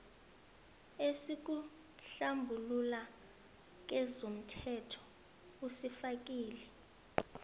esikuhlambulula kezomthelo usifakile